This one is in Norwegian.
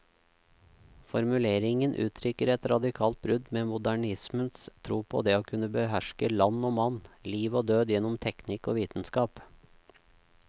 Formuleringen uttrykker et radikalt brudd med modernismens tro på det å kunne beherske land og mann, liv og død gjennom teknikk og vitenskap.